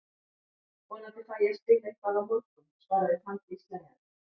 Vonandi fæ ég að spila eitthvað á morgun, svaraði Fanndís hlæjandi.